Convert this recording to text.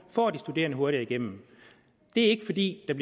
får de studerende hurtigere igennem det er ikke fordi der